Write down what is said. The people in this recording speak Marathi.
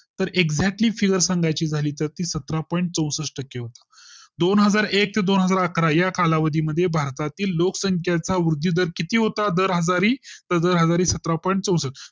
तर Exactly figure सांगायची झाली तर ती सतरा point चौसष्ठ टक्के होता, दोन हजार एक ते दोन हजार अकरा या कालावधी मध्ये भारतातील लोकसंख्या चा वृद्धी दर किती होता दर हजारी, तर दर हजारी सतरा point चौसष्ठ